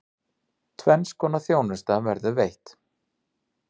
Tvenns konar þjónusta verður veitt.